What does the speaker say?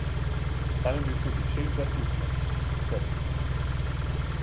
Tam je bil tudi Šehzad Lukman, v krsti.